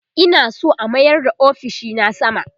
Ina San a mayar da ofishina sama